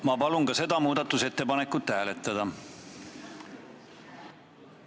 Ma palun ka seda muudatusettepanekut hääletada!